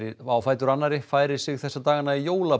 á fætur annarri færir sig þessa dagana í